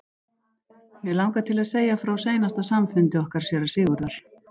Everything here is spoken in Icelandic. Mig langar til að segja frá seinasta samfundi okkar séra Sigurðar.